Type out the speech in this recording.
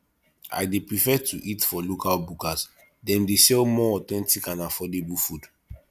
i dey prefer to eat for local bukas dem dey sell more authentic and affordable food